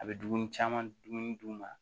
A bɛ dumuni caman dun ma